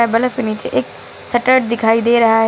Bulb के नीचे एक शटर दिखाई दे रहा है।